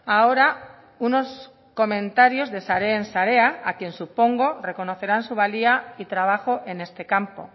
ahora unos comentarios de sareen sarea a quien supongo reconocerán su valía y trabajo en este campo